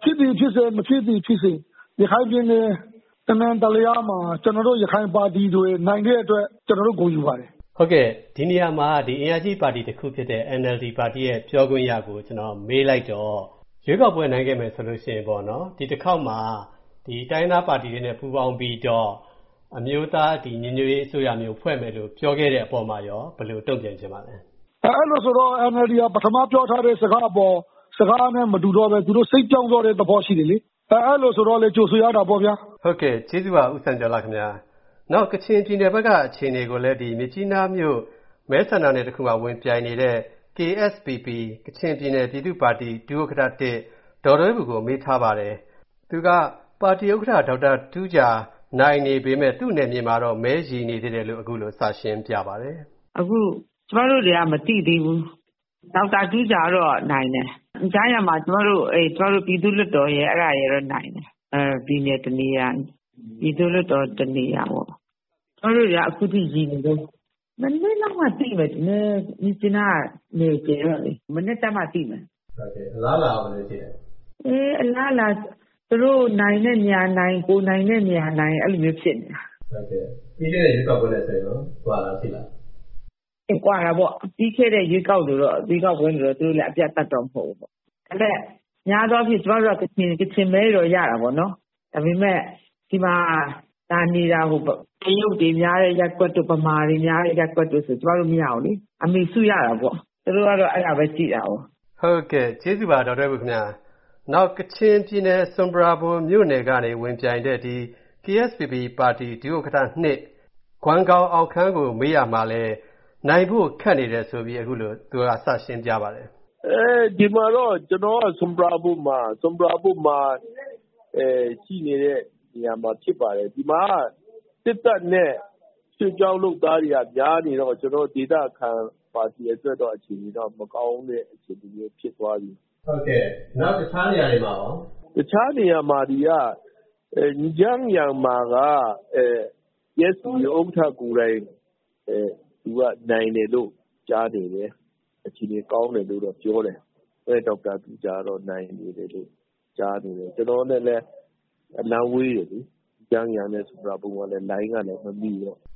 ။ ဖြစ်သည်ဖြစ်စေ၊ မဖြစ်သည်ဖြစ်စေ ရခိုင်ပြည်နယ် တနံတလျားမှာ ကျနော်တို့ ရခိုင်ပါတီတွေ နိုင်တဲ့အတွက် ကျနော်တို့ ဂုဏ်ယူပါတယ်။” ဒီနေရာမှာ အင်အားကြီး ပါတီတခုဖြစ်တဲ့ NLD ပါတီ ပြောခွင့်ရကို မေးလိုက်တော့ ရွေးကောက်ပွဲ နိုင်ခဲ့မယ်ဆိုရင် ဒီတခေါက်မှာ တိုင်းရင်းသားပါတီတွေနဲ့ ပူးပေါင်းပြီးတော့ အမျိုးသားညီညွတ်ရေး အစိုးရမျိုး ဖွဲ့မယ်လို့ ပြောခဲ့တဲ့အပေါ်မှာရော ဘယ်လိုတုံ့ပြန်ချင်ပါလဲ။ “အဲလိုဆိုတော့ NLD က ပထမပြောထားတဲ့ စကားနဲ့ မတူတော့ဘဲ သူတို့ စိတ်ပြောင်းသွားတဲ့သဘော ရှိတယ်လေ။ အဲလိုဆိုတော့လည်း ကြိုဆိုရတာပေါ့ဗျာ။” ဟုတ်ကဲ့ ကျေးဇူးပါ ဦးစံကျော်လှခင်ဗျား။ နောက် ကချင်ပြည်နယ်ဘက်က အခြေအနေကိုလည်း မြစ်ကြီးနားမြို့ မဲဆန္ဒနယ်တခုမှာ ဝင်ပြိုင်နေတဲ့ KSPP ကချင်ပြည်နယ် ပြည်သူ့ပါတီ ဒုဥက္ကဋ္ဌ-၁ ဒေါ်ဒွဲဘူကို မေးထားပါတယ်။ သူက ပါတီဥက္ကဋ္ဌ ဒေါက်တာတူးဂျာ နိုင်နေပေမယ့် သူ့နယ်မြေမှာတော့ မဲရေနေသေးတယ်လို့ အခုလို စရှင်းပြပါတယ်။ “အခု ကျမတို့တွေက မသိသေးဘူး။ ဒေါက်တာတူးဂျာတော့ နိုင်တယ်။ အင်ဂျန်းယန်မှာ ကျမတို့ ပြည်သူ့လွှတ်တော်နိုင်တယ်။ ပြည်နယ်တနေရာ၊ ပြည်သူ့လွှတ်တော် တနေရာပေါ့။ ကျမတို့တွေက အခုထိ ရေနေတုန်း။ မနက်လောက်မှ သိမယ်ထင်တယ်၊ မြစ်ကြီးနားက နယ်ကျယ်တော့လေ။” အလားအလာရော ဘယ်လိုရှိလဲ။ “အလားအလာက သူတို့နိုင်တဲ့နေရာနိုင်၊ ကိုယ်နိုင်တဲ့နေရာနိုင် အဲလိုမျိုး ဖြစ်နေတယ်။” ပြီးခဲ့တဲ့ ရွေးကောက်ပွဲနဲ့ ဆိုရင်ရော၊ ကွာတာရှိလား။ “ကွာတာပေါ့။ ပြီးခဲ့တဲ့ ရွေးကောက်ပွဲလိုတော့ သူတို့လည်း အပြတ်အသတ်တော့ မဟုတ်ဘူးပေါ့။ ဒါပေမယ့် များသောအားဖြင့် ကျမေတို့က ကချင်မဲတွေတော့ ရတာပေါ့။ ဒါပေမယ့် ဒီမှာလာနေတာ တရုတ်တွေများတဲ့ ရပ်ကွက်တို့၊ ဗမာတွေနေတာများတဲ့ ရပ်ကွက်တို့ဆို ကျမတို့မရဘူးလေ။ အမေစုရတာပေါ့။ သူတို့ကတော့ အဲဒါပဲကြည့်တာကိုး။” ကျေးဇူးပါ ဒေါ်ဒွဲဘူခင်ဗျား။ နောက် ကချင်ပြည်နယ် ဆွမ်ပရာဘွမ်မြို့နယ်ကနေ ဝင်ပြိုင်တဲ့ KSPP ပါတီ ဒုဥက္ကဋ္ဌ-၂ ကွမ်ဂေါင်အောင်ခမ်းကို မေးရာမှာလည်း နိုင်ဖို့ ခက်နေတယ်ဆိုပြီး အခုလို သူက စရှင်းပြပါတယ်။ “ဒီမှာတော့ ကျေနာ်က ဆွမ်ပရာဘွမ်မှာ ရှိနေတာ ဖြစ်ပါတယ်။ ဒီမှာက စစ်တပ်နဲ့ ရွှေ့ပြောင်းလုပ်သားတွေက များနေတော့ ကျနော်တို့ ဒေသခံပါတီအတွက်တော့ မကောင်းတဲ့အခြေအနေမျိုး ဖြစ်သွားပြီ။” နောက် တခြားနေရာတွေမှာရော။ “တခြားနေရာမှာ အင်ဂျန်းယန်မှာက KSPP ဥက္ကဋ္ဌကိုယ်တိုင် နိုင်တယ်လို့ ကြားတယ်။ အခြေအနေကောင်းတယ်လို့တော့ ပြောတယ်။ ဒေါက်တာတူးဂျာကတော့ နိုင်နေတယ်လို့ ကြားနေတယ်။ ကျနော်က နည်းနည်း အလှမ်းဝေးတယ်လေ။ အင်ဂျန်းယန်နဲ့ ဆွမ်ပရာဘွမ်က လိုင်းကလည်း မမိတော့။”